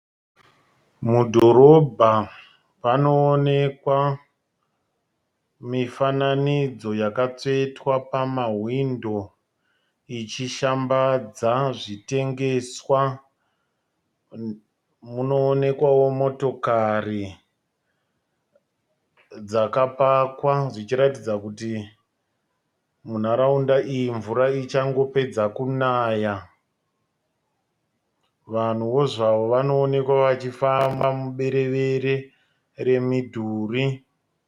Mudhorobha panoonekwa mifananidzo yakatsvetwa pamahwindo ichishambadza zvitengeswa. Munoonekwawo motokari dzakapakwa dzichiratidza kuti munharaunda iyi mvura ichangopedza kunaya. Vanhuwo zvavo vanoonekwa vachifamba muberevere remidhuri.